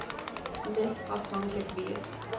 lid afhanklik wees